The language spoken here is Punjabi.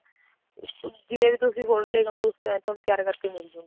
ਦੇਖੋ ਜਿਵੇਂ ਵੀ ਤੁਸੀਂ ਫੋਟੋ ਲੈ ਕੇ ਆਉਣਗੇ ਉਸ type ਦਾ ਤਿਆਰ ਕਰ ਕੇ ਮਿਲਜੁਗੀ